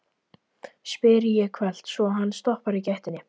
spyr ég hvellt, svo hann stoppar í gættinni.